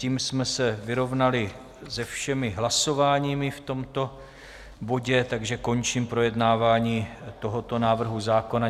Tím jsme se vyrovnali se všemi hlasováními v tomto bodě, takže končím projednávání tohoto návrhu zákona.